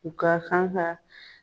U ka kan ka